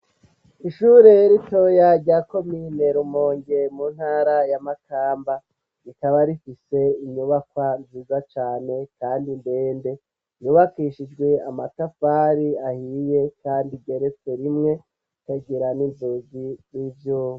Ishure ritoya rya komine Rumonge mu ntara ya Makamba rikaba rifise inyubakwa nziza cane kandi ndende yubakishijwe amatafari ahiye kandi igeretse rimwe ikagira n'inzugi z'ivyuma